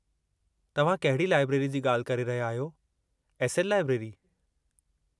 तव्हां कहिड़ी लाइब्रेरी जी ॻाल्हि करे रहिया आहियो, एस. एल. लाइब्रेरी?